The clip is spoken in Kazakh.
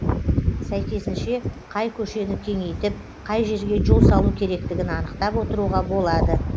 сәйкесінше қай көшені кеңейтіп қай жерге жол салу керектігін анықтап отыруға болады